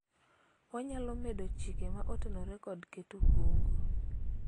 wanyalo medo chike ma otenore kod keto kungo